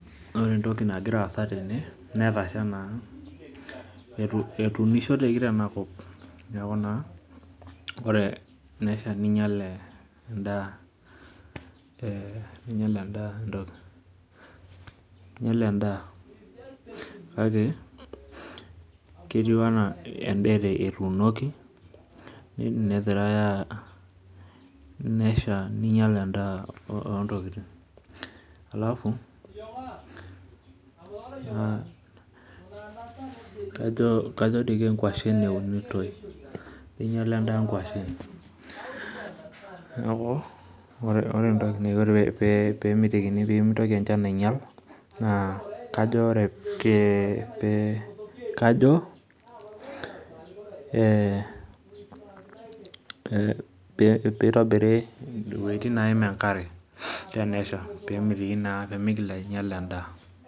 Ore entoki nagiraa aasa tene netasha naa ,etuunishoteki teinakop neeku naa ore ena shan neinyal endaa kake etiu enaa endaa etuunoki negirae, nesha ninyel endaa. alafu kajo doi kenkwashen eunitoi meinyala nkwashen ,neeku ore pee emitikini pee mitoki enchan ainyala, kajo pee eitobiri wejitin neeim enkare tenesha pee mitoki naa ainyala endaa.